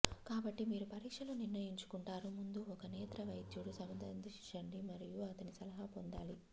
కాబట్టి మీరు పరీక్షలో నిర్ణయించుకుంటారు ముందు ఒక నేత్ర వైద్యుడు సందర్శించండి మరియు అతని సలహా పొందాలి